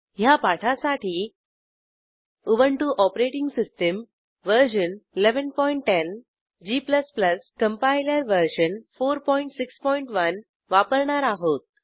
ह्या पाठासाठी Ubuntu OS version 1110 g compiler version 461 वापरणार आहोत